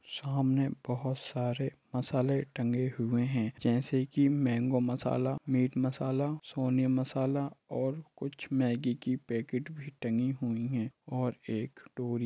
सामने बहुत सारे मसाले टंगे हुए हैं जैसे की मेंगो मसाला मीट मसाला सोनी मसाला और कुछ मैगी की पैकेट भी टंगी हुई है और एक टोरी--